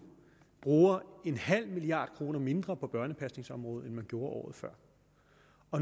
bruger en halv milliard kroner mindre på børnepasningsområdet end man gjorde året før